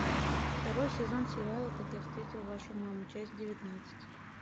второй сезон сериала как я встретил вашу маму часть девятнадцать